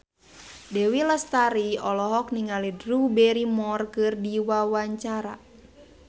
Dewi Lestari olohok ningali Drew Barrymore keur diwawancara